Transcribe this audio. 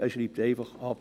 Er schreibt einfach ab.